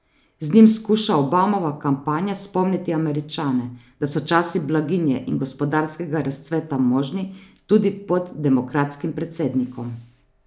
Z njim skuša Obamova kampanja spomniti Američane, da so časi blaginje in gospodarskega razcveta možni tudi pod demokratskim predsednikom.